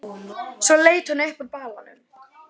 Svo leit hún upp úr balanum.